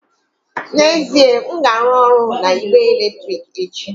N'ezie, m ga-arụ ọrụ na igbe eletrik echi